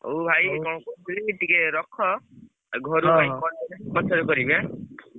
ହଉ ଭାଇ କଣ କହୁଥିଲି ଟିକେ ରଖ। ଆଉ ଘରକୁ ଯାଇ ପଛରେ କରିବି ଆଁ?